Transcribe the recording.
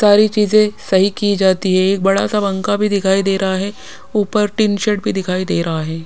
सारी चीज सही की जाती है। एक बड़ा सा पंखा भी दिखाई दे रहा है। ऊपर टीन शेड भी दिखाई दे रहा है।